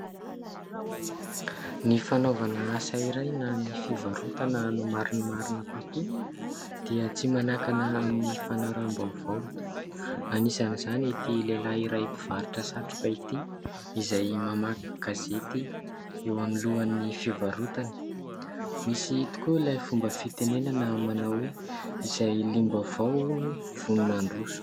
Ny fanaovana asa iray na ny fivarotana no marinmarina kokoa dia tsy manakana amin'ny fanaraham-baovao. Anisany izany ity lehilahy iray mpivarotra satroka ity izay mamaky gazety eo alohan'ny fivarotany. Misy tokoa ilay fomba fitenenana manao hoe : "izay liam-baovao hono vonona handroso".